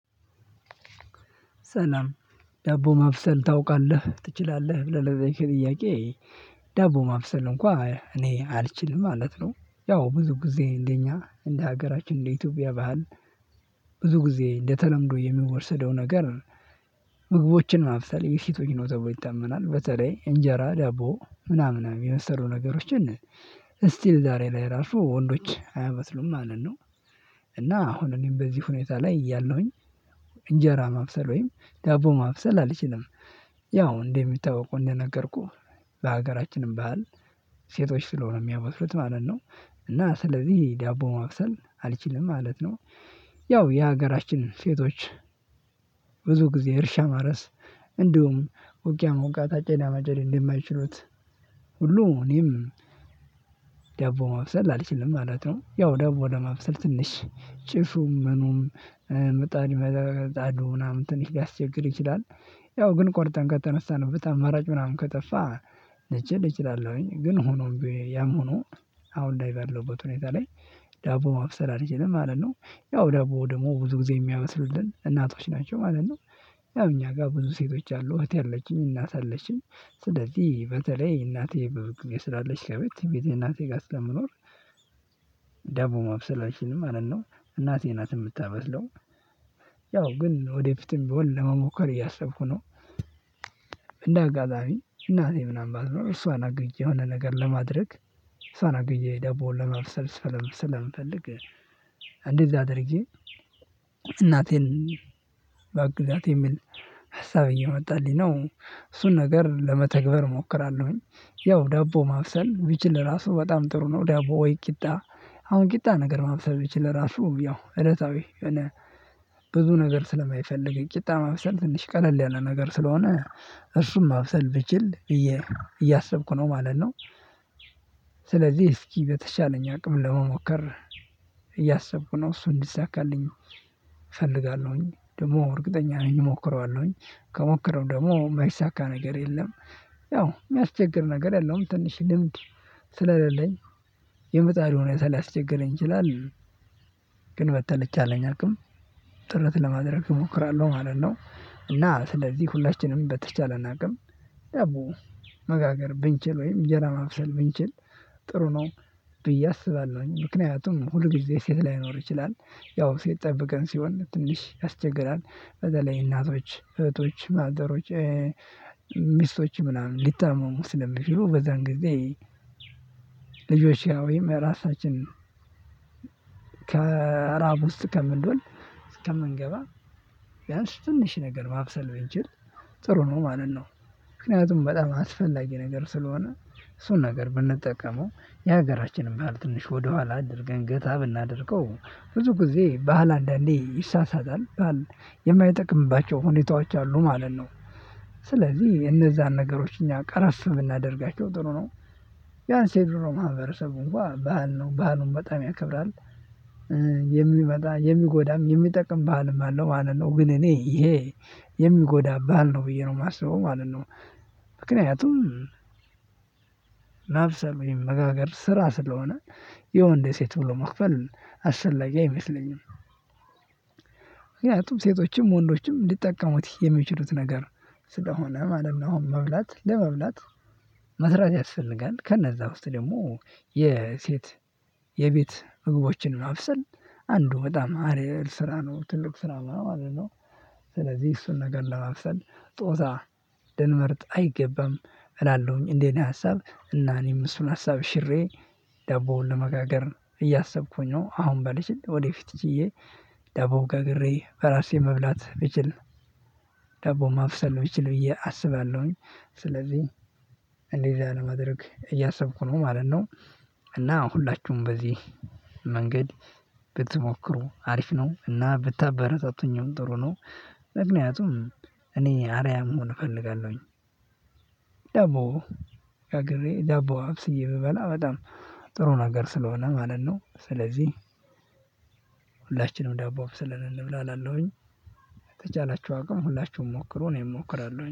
ሰላም ዳቦ ማብሰል ታውቃለህ ትችላለህ ብለህ ለተየከኝ ጥያቄ? ዳቦ ማብሰል እንኳን እኔ አልችልም ማለት ነው። ያው ብዙ ጊዜ እንደኛ እንደ ሀገራችን እንደ ኢትዮጵያ ባህል ብዙ ጊዜ እንደተለምዶ የሚወሰደው ነገር። ምግቦችን ማብሰል የሴቶች ነው ተብሎ ይታመናል በተለይ እንጀራ ዳቦ ምናምን ምናምን የመሰሉ ነገሮች ስቲል ዛሬ ላይ ራሱ ወንዶች አያበስሉም ማለት ነው። እና አሁን እኔም በዚህ ሁኔታ ላይ እያለሁኝ። እንጀራ ማብሰል ወይም ዳቦ ማብሰል አልችልም። ያው እንደሚታወቁ እንደነገርኩህ በሀገራችንም ባህል ሴቶች ስለሆኑ የሚያበስሉት ማለት ነው። እና ስለዚህ ዳቦ ማብሰል አልችልም ማለት ነው። ያው የሀገራችን ሴቶች። ብዙ ጊዜ እርሻ ማረስ እንዲሁም ውጊያ ሞውጋት አጨዳ ማጨድ እንደማይችሉት ሁሉ እኔም። ዳቦ ማብሰል አልችልም ማለት ነው ያው ዳቦ ለማብሰል ትንሽ ጭሱም ምኑም ምጣድ መጣዱ ምናምን ትንሽ ሊያስቸግር ይችላል። ያው ግን ቆርጠን ከተነሳንበት አማራጭ ምናምን ከጠፋ ልችል እችላለሁኝ ግን ሆኖ ያም ሆኖ። አሁን ላይ ባለሁበት ሁኔታ ላይ ዳቦ ማብሰል አልችልም ማለት ነው። ያው ዳቦ ደግሞ ብዙ ጊዜ የሚያበስሉልን እናቶች ናቸው ማለት ነው። ያው እኛ ጋር ብዙ ሴቶች አሉ እህቴ አለችኝ እናት አለችኝ ስለዚህ በተለይ እናቴ ብዙ ጊዜ የስላለች ከቤት ብዙ ጊዜ እናቴ ጋር ስለምኖር። ዳቦ ማብሰል አልችልም ማለት ነው እናቴ ናት የምታበስለው። ያው ግን ወደፊትም ቢሆን ለመሞከር እያሰብኩ ነው። እንደ አጋዛሚ እናቴ ምናምን ባትኖር እሷን አግዠ የሆነ ነገር ለማድረግ እሷን አግዠ ደቦ ለማብሰል ስለምፈልግ እንዲህ አድርጌ እናቴን ባግዛት የሚል ሀሳብ እየመጣልኝ ነው እሱን ነገር ለመተግበር እሞክራለሁኝ። ያው ዳቦ ማብሰል ብችል ራሱ በጣም ጥሩ ነው ዳቦ ወይ ቂጣ። አሁን ቂጣ ነገር ማብሰብ ብችል ራሱ ያው እለታዊ የሆነ። ብዙ ነገር ስለማይፈልግ ቂጣ ማብሰል ትንሽ ቀለል ያለ ነገር ስለሆነ እርሱም አብሰል ብችል እየ እያሰብኩ ነው ማለት ነው። ስለዚህ እስኪ በተቻለኝ አቅም ለመሞከር እያሰብኩ ነው እሱ እንዲሳካልኝ። እፈልጋለሁኝ ደግሞ እርግጠኛ ነኝ እሞክረዋለሁኝ። ከሞከረው ደግሞ የማይሳካ ነገር የለም። ያው የሚያስቸግር ነገር የለውም ትንሽ ልምድ ስለሌለኝ የምጣዱ ሁኔታ ሊያስቸግረኝ ይችላል። ግን በተልቻለኝ አቅም ጥረት ለማድረግ እሞክራለሁ ማለት ነው። እና ስለዚህ ሁላችንም በተቻለን አቅም ዳቦ መጋገር ብንችል ወይም እንጀራ ማብሰል ብንችል ጥሩ ነው። ብዬ አስባለሁኝ ምክንያቱም ሁል ጊዜ ሴት ላይኖር ይችላል ያው ሴት ጠበቅን ሲሆን ትንሽ ያስቸግራል። በደለኝ እናቶች እህቶች ማዘሮች ሚስቶች ምናምን ሊታመሙ ስለሚችሉ በዛን ጊዜ። ልጆቼ ወይም ራሳችን። ከራብ ውስጥ ከምንዶል ከምንገባ ቢያንስ ትንሽ ነገር ማብሰል ብንችል። ጥሩ ነው ማንን ነው። ምክንያቱም በጣም አስፈላጊ ነገር ስለሆነ እሱን ነገር ብንጠቀመው የሀገራችንን ባህል ትንሽ ወደኋላ አድርገን ገታ ብናደርገው ብዙ ጊዜ ባህል አንዳንዴ ይሳሳታል ባህል የማይጠቅምባቸው ሁኔታዎች አሉ ማለት ነው። ስለዚህ እነዛን ነገሮች እኛ ቀረፍ ብናደርጋቸው ጥሩ ነው። ቢያንስ የድሮ ማህበረሰብ እንኳን ባህል ነው ባህሉን በጣም ያከብራል። የሚመጣ የሚጎዳም የሚጠቅም ባህልም አለው ማለት ነው ግን እኔ ይሄ የሚጎዳ ባህል ነው ብዬ ነው የማስበው ማለት ነው። ምክንያቱም መጋገር ስራ ስለሆነ የወንድ ሴት ብሎ መክፈል አሰፈላጊ አይመስለኝም። ምክንያቱም ሴቶችም ወንዶችም ሊጠቀሙት የሚችሉት ነገር ስለሆነ ማለት ነው። አሁን መብላት ለመብላት መስራት ያስፈልጋል ከነዛ ውስጥ ደግሞ የሴት የቤት ምግቦችን ማብሰል አንዱ በጣም አሪፍ ስራ ነው ትልቅ ስራ ማለት ነው። ስለዚህ እሱን ነገር ለማብሰል ጾታ ልንመርጥ አይገባም እላለሁኝ እንደ እኔ ነው ሀሳብ እና እኔም እሱን ሀሳብ ሽሬ። ዳቦውን ለመጋገር እያሰብኩኝ ነው አሁን ባልችል ወደፊት ችዬ ዳቦን ጋግሬ በራሴ መብላት ብችል ዳቦ ማብሰል ብችል ብዬ አስባለሁኝ ስለዚህ እንደዚህ አለማድረግ እያሰብኩ ነው ማለት ነው። እና ሁላችሁም በዚህ መንገድ ብትሞክሩ አሪፍ ነው እና ብታበታቱኝም ጥሩ ነው። ምክንያቱም እኔ አርያም መሆን እፈልጋለሁኝ። ዻቦ ጋግሬ ደቦ አብስዬ ብበላ በጣም ጥሩ ነገር ስለሆነ ማለት ነው። ስለዚህ ሁላችንም ዳቦ አብስለን እንብላ አላለሁኝ። የተቻላችሁ አቅም ሁላችሁም ሞክሩ እኔም እሞክራለሁኝ